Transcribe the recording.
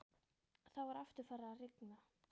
Þá var aftur farið að rigna.